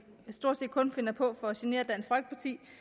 stort set kun finder på for at genere at